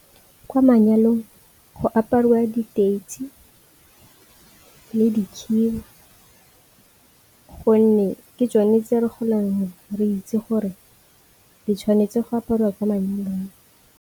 Kwa manyalong go aparwa diteitsi le dikhiba gonne ke tsone tse re golang re itse gore di tshwanetse go apariwa kwa manyalong.